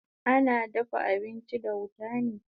Ana dafa abinchi da wuta ne